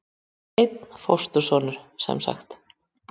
Einn fóstursonur semsagt.